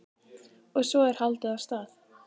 Og svo er haldið af stað.